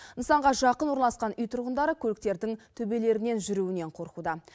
нысанға жақын орналасқан үй тұрғындары көліктердің төбелерінен жүруінен қорқуда